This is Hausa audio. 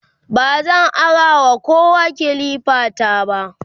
bazan arawa kowa kilifa ta ba